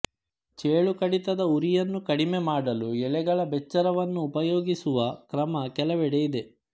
ಚೇಳುಕಡಿತದ ಉರಿಯನ್ನು ಕಡಿಮೆ ಮಾಡಲು ಎಲೆಗಳ ಬೆಚ್ಚಾರವನ್ನು ಉಪಯೋಗಿಸುವ ಕ್ರಮ ಕೆಲವೆಡೆ ಇದೆ